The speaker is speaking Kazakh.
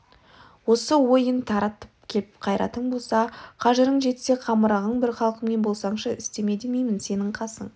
осы ойын таратып келіп қайратың болса қажырың жетсе қамырығың бір халқыңмен болсаңшы істеме демеймін сенің қасың